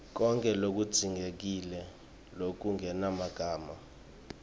konkhe lokudzingekile lokungemagama